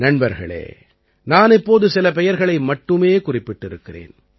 நண்பர்களே நான் இப்போது சில பெயர்களை மட்டுமே குறிப்பிட்டிருக்கிறேன்